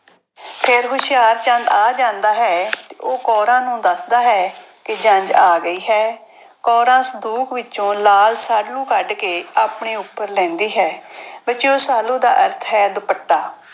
ਫਿਰ ਹੁਸ਼ਿਆਰਚੰਦ ਆ ਜਾਂਦਾ ਹੈ। ਉਹ ਕੌਰਾਂ ਨੂੰ ਦੱਸਦਾ ਹੈ ਕਿ ਜੰਞ ਆ ਗਈ ਹੈ। ਕੌਰਾਂ ਸੰਦੂਕ ਵਿੱਚੋਂ ਲਾਲ ਸਾਲੂ ਕੱਢ ਕੇ ਆਪਣੇ ਉੱਪਰ ਲੈਂਦੀ ਹੈ। ਬੱਚਿਓ ਸਾਲੂ ਦਾ ਅਰਥ ਹੈ, ਦੁਪੱਟਾ।